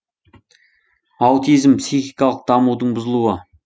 аутизм психикалық дамудың бұзылуы